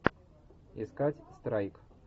искать страйк